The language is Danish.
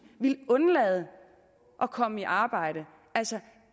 ville undlade at komme i arbejde altså